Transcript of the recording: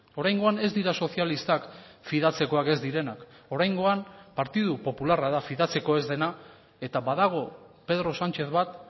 oraingoan ez dira sozialistak fidatzekoak ez direnak oraingoan partidu popularra da fidatzeko ez dena eta badago pedro sánchez bat